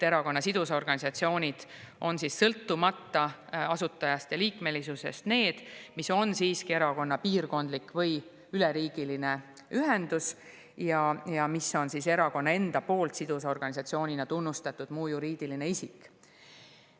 Erakonna sidusorganisatsioon on sõltumata asutajast ja liikmes erakonna piirkondlik või üleriigiline ühendus, mis on erakonna enda poolt sidusorganisatsioonina tunnustatud muu juriidiline isik.